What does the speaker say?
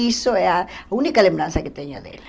Isso é a única lembrança que tenho dela.